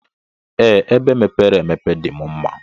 Ee, ebe mepere emepe dim mma.